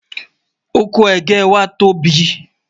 ọkọ̀ ẹgẹ wà tó bí